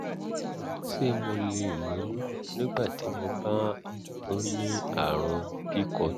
ṣé mo lè lóyún nígbà tí mo bá ń ní àrùn pcod?